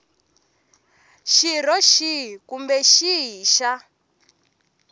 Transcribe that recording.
xirho xihi kumbe xihi xa